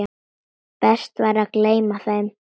Best væri að gleyma þeim.